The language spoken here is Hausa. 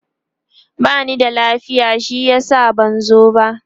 bani da lafiya shi yasa ban zo ba